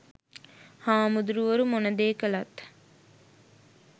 හාමුදුරුවරු මොන දේ කළත්